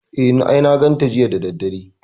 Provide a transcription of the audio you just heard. E, I na ganta jiya da daddare.